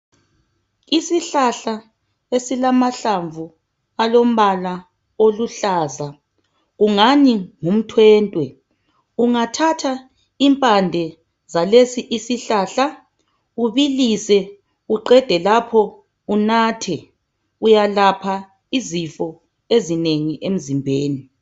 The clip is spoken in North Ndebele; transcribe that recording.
Isihlahla esilamahlamvu alombala oluhlaza, kungani ngumthwentwe. Ungathatha impande zalesi isihlahla ubilise uqede lapho unathe, uyalapha izifo ezinengi emzimbeni.